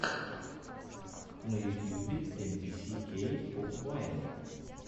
на ютьюбе эм би си кей поп вайн